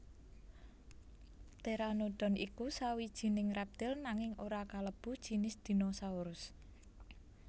Pteranodon iku sawijining reptil nanging ora kalebu jinis dinosaurus